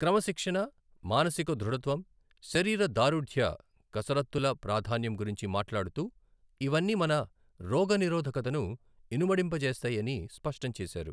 క్రమశిక్షణ, మానసిక దృఢత్వం, శరీర దారుఢ్య కసరత్తుల ప్రాధాన్యం గురించి మాట్లాడుతూ, ఇవన్నీ మన రోగనిరోధకతను ఇనుమడింపజేస్తాయని స్పష్టం చేశారు.